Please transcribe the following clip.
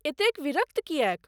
एतेक विरक्त किएक?